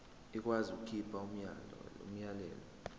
ikwazi ukukhipha umyalelo